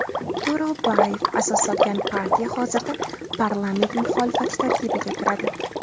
To‘ro‘bayev asos solgan partiya hozirda parlament muxolifati tarkibiga kiradi.